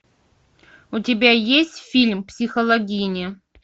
у тебя есть фильм психологини